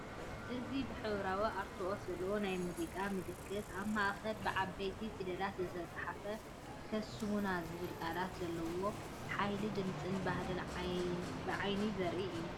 እዚ ብሕብራዊ ኣርትዖት ዘለዎ ናይ ሙዚቃ ምልክታ፡ ኣብ ማእከሉ ብዓበይቲ ፊደላት ዝተጻሕፈ ‘ከስሙና!’ ዝብል ቃላት ዘለዎ፡ ሓይሊ ድምጽን ባህልን ብዓይኒ ዘርኢ እዩ።